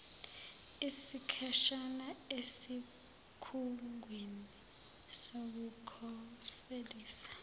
isikhashana esikhungweni sokukhoselisa